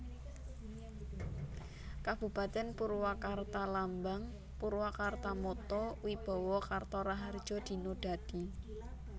Kabupatèn PurwakartaLambang PurwakartaMotto Wibawa Karta Raharja Dina Dadi